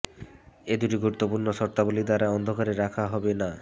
এই দুটি গুরুত্বপূর্ণ শর্তাবলী দ্বারা অন্ধকারে রাখা হবে না